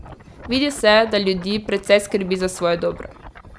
Vidi se, da ljudi precej skrbi za svoje dobro.